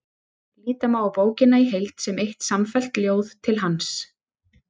Líta má á bókina í heild sem eitt samfellt ljóð til hans.